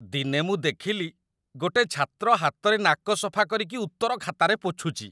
ଦିନେ ମୁଁ ଦେଖିଲି ଗୋଟେ ଛାତ୍ର ହାତରେ ନାକ ସଫା କରିକି ଉତ୍ତର ଖାତାରେ ପୋଛୁଚି ।